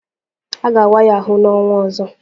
A ga-awa ya ahụ n'ọnwa ọzọ